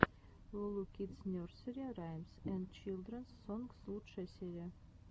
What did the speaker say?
лу лу кидс нерсери раймс энд чилдренс сонгс лучшая серия